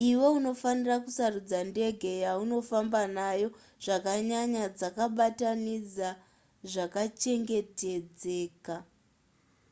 iwe unofanirwa kusarudza ndege yaunofamba nayo zvakanyanya dzakabatanidza zvakachengetedzeka